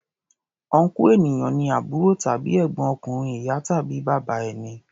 Ọnkú ènìyàn ni àbúrò tàbí ègbọ́n ọkùnrin ìyá tàbí bàbá ẹni.